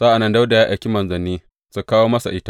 Sa’an nan Dawuda ya aiki manzanni su kawo masa ita.